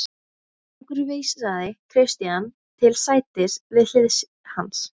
Konungur vísaði Christian til sætis við hlið hans.